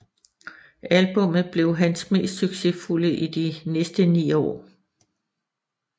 Albummet blev hans mest succesfulde i de næste ni år